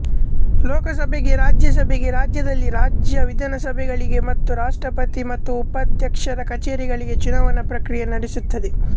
ಲೋಕಸಭೆಗೆ ರಾಜ್ಯಸಭೆಗೆ ರಾಜ್ಯದಲ್ಲಿ ರಾಜ್ಯ ವಿಧಾನಸಭೆಗಳಿಗೆ ಮತ್ತು ರಾಷ್ಟ್ರಪತಿ ಮತ್ತು ಉಪಾಧ್ಯಕ್ಷರ ಕಚೇರಿಗಳಿಗೆ ಚುನಾವಣಾ ಪ್ರಕ್ರಿಯೆ ನಡೆಸುತ್ತದೆ